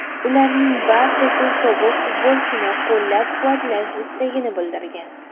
Ularning barchasi sobiq futbolchini qo‘llab-quvvatlash istagini bildirgan.